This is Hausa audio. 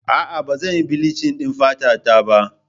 Aa, Ba zan yi bilichin ɗin fata ta ba